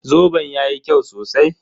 Zoben yayi kyau sosai